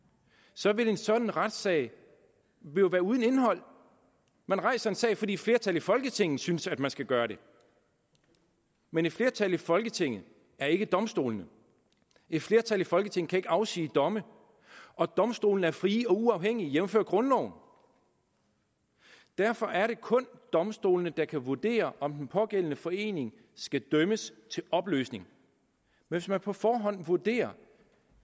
så vil en sådan retssag jo være uden indhold man rejser en sag fordi flertallet i folketinget synes at man skal gøre det men et flertal i folketinget er ikke domstolene et flertal i folketinget kan ikke afsige domme og domstolene er frie og uafhængige jævnfør grundloven og derfor er det kun domstolene der kan vurdere om den pågældende forening skal dømmes til opløsning hvis man på forhånd vurderer